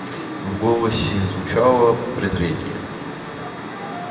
в голосе джимса звучало нескрываемое презрение